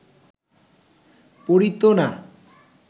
পড়িত না